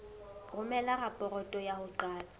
romela raporoto ya ho qala